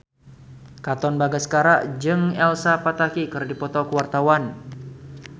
Katon Bagaskara jeung Elsa Pataky keur dipoto ku wartawan